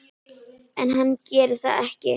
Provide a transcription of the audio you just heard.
En hann gerir það ekki.